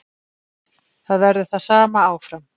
Það verður það sama áfram.